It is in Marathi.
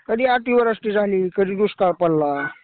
कधी अति वृष्टी झाली. कधी दुष्काळ पडला.